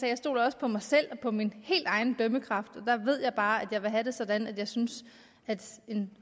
jeg stoler også på mig selv og min helt egen dømmekraft og der ved jeg bare at jeg vil have det sådan at jeg synes at en